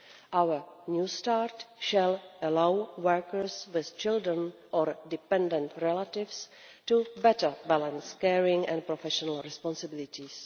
Our New Start will allow workers with children or dependent relatives to better balance caring and professional responsibilities.